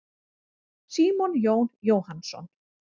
Símon Jón Jóhannsson.